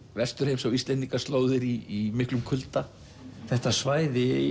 Vesturheims á Íslendingaslóðir í miklum kulda þetta svæði